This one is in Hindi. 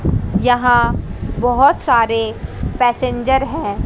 यहां बहोत सारे पैसेंजर है।